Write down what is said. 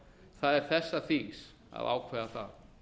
það er þessa þings að ákveða það